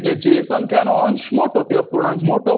એટલે જે સંખ્યાનો અંશ મોટો એ તે અપૂર્ણાંક મોટો